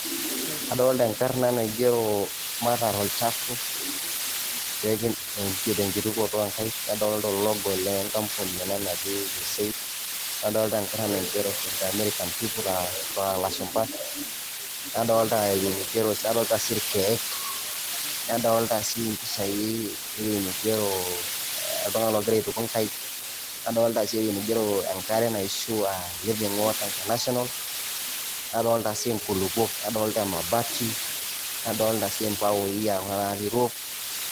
Adolta enkarna naigero mataar olchafu te nkitukoto o nkaek, nadolta ologo le nkampuni ena naji USAID, nadolta enkarna naigero in the american people aa ilashumba, nadolta ewuji nigero nadolta sii irkeek, nadolta sii mpishai ewui nigero oltung'ani ogira aituku nkaek, nadolta sii ewuei nigero enkare naishu a living water international, nadolta sii nkulukok, nadolta emabati , nadoolta sii mbaoi a kuna natii roof.